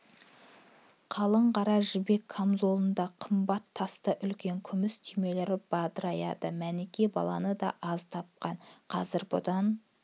қалың қара жібек камзолында қымбаттасты үлкен күміс түймелер бадыраяды мәніке баланы да аз тапқан қазір бұдан